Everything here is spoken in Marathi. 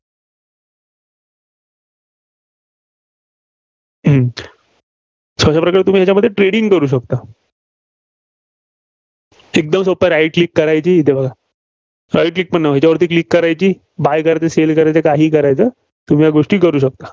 हम्म so अशा प्रकारे तुम्ही याच्यामध्ये trading करू शकता. एकमद सोपं आहे, Right Click करायची, येथे बघा. Right Click पण नव्हे. हेच्यावरती click करायची. buy करायचे, Sale करायचे, काहीही करायचं. तुम्ही या गोष्टी करू शकता.